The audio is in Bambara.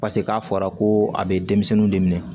Paseke k'a fɔra ko a bɛ denmisɛnninw de minɛ